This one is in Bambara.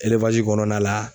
kɔnɔna la